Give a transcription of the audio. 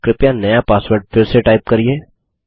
कृपया नया पासवर्ड फिर से टाइप करिये